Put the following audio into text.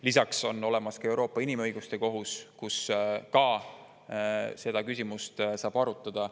Lisaks on olemas Euroopa Inimõiguste Kohus, kus ka saab seda küsimust arutada.